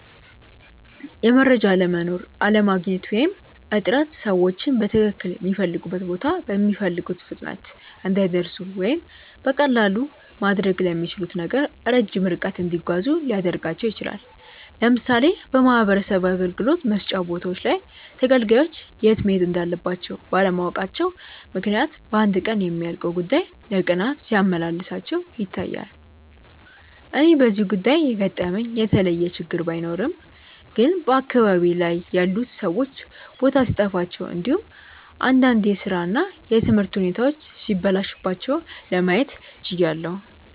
የመረጃ አለመኖር፣ አለማግኘት ወይም እጥረት ሰዎችን በትክልል ሚፈልጉበት ቦታ በሚፈልጉት ፍጥነት እንዳይደርሱ ወይም በቀላሉ ማድረግ ለሚችሉት ነገር ረጅም ርቀት እንዲጓዙ ሊያደርጋቸው ይችላል። ለምሳሌ በማህበረሰብ አገልግሎት መስጫ ቦታዎች ላይ ተገልጋዮች የት መሄድ እንዳለባቸው ባለማወቃቸው ምክንያት በአንድ ቀን የሚያልቅ ጉዳይ ለቀናት ሲያመላልሳቸው ይታያል። እኔ በዚህ ጉዳይ የገጠመኝ የተለየ ችግር ባይኖርም ግን በአካባቢዬ ላይ ያሉት ሰዎች ቦታ ሲጠፋቸው እንዲሁም እንዳንድ የስራ እና የትምህርት ሁኔታዎች ሲበላሹባቸው ለማየት ችያለው።